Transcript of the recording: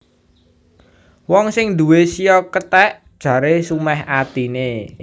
Wong sing nduwé shio kethèk jaré sumèh atiné